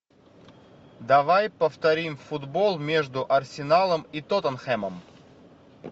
давай повторим футбол между арсеналом и тоттенхэмом